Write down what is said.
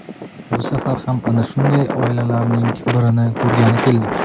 Bu safar ham ana shunday oilalarning birini ko‘rgani keldik.